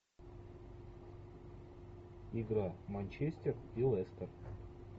игра манчестер и лестер